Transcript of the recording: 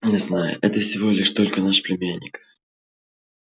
не знаю это всего лишь только наш племянник